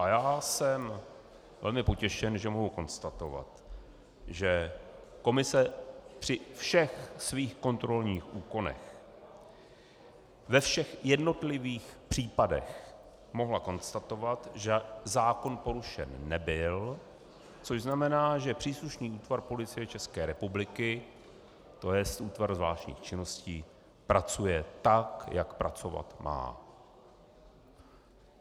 A já jsem velmi potěšen, že mohu konstatovat, že komise při všech svých kontrolních úkonech, ve všech jednotlivých případech mohla konstatovat, že zákon porušen nebyl, což znamená že příslušný útvar Policie České republiky, to jest Útvar zvláštních činností, pracuje tak, jak pracovat má.